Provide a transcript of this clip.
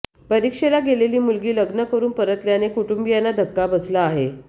परीक्षेला गेलेली मुलगी लग्न करून परतल्याने कुटुंबीयांना धक्का बसला आहे